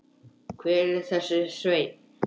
Hver er þessi Sveinn?